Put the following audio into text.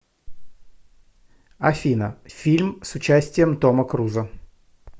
афина фильм с участием тома крузо